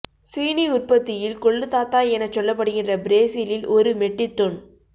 சீனி உற்பத்தியில் கொள்ளுத்தாத்தா எனச் சொல்லப்படுகின்ற பிரேசிலில் ஒரு மெட்டிக் தொன்